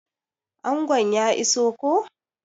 Angon ya iso koh?